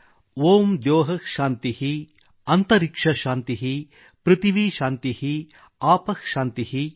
ಓಂ ದ್ಯೌಃ ಶಾಂತಿಃ | ಅಂತರಿಕ್ಷ ಶಾಂತಿಃ | ಪೃಥಿವೀ ಶಾಂತಿಃ | ಆಪಃ ಶಾಂತಿಃ |